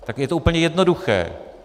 Tak je to úplně jednoduché.